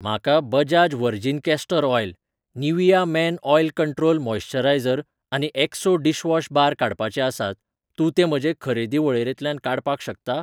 म्हाका Bajaj virgin castor oil, Nivea men oil control moisturiser आनी Exo dishwash bar काडपाचे आसात, तूं ते म्हजे खरेदी वळेरेंतल्यान काडपाक शकता?